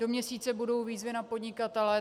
Do měsíce budou výzvy na podnikatele.